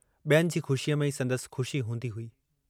ॿियनि जी ख़ुशीअ में ई संदसि ख़ुशी हूंदी हुई।